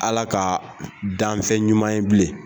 Ala ka danfɛn ɲuman ye bilen